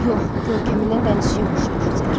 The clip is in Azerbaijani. Yox, görkəmindən dənizçiyə oxşayır, Ser.